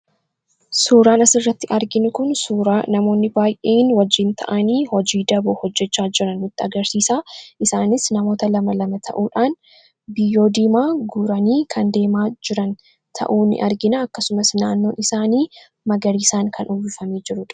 suuraan asirratti arginu kun suuraa namoonni baay'een wajjiin ta'anii hojii daboo hojjechaa jira nutti agarsiisaa isaanis namoota 22 ta'uudhaan biyyoo dimaa guuranii kan deemaa jiran ta'uu ni argina akkasumas naannoon isaanii magarii isaan kan uwwifamee jirudha.